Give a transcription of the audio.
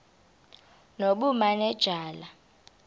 nobumanejala